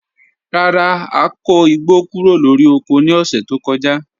Rara, a ko igbo kuro lori oko ni ọsẹ to kọja